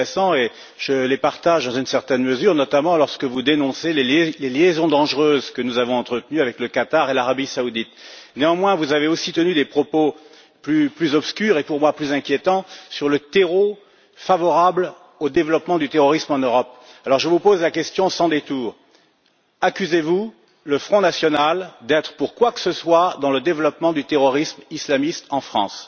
Madame Rivasi, vous avez tenu des propos fort intéressants et je les partage dans une certaine mesure, notamment lorsque vous dénoncez les liaisons dangereuses que nous avons entretenues avec le Qatar et l'Arabie Saoudite. Néanmoins, vous avez aussi tenu des propos plus obscurs et pour moi plus inquiétants sur le terreau favorable au développement du terrorisme en Europe. Aussi, je vous pose la question sans détours accusez vous le Front national d'être pour quoi que ce soit dans le développement du terrorisme islamiste en France?